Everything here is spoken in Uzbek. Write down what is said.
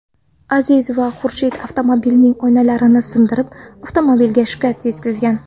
Aziz va Xurshid avtomobilning oynalarini sindirib, avtomobilga shikast yetkazgan.